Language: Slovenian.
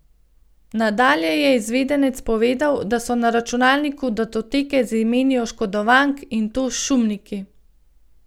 Nadalje je izvedenec povedal, da so na računalniku datoteke z imeni oškodovank, in to s šumniki.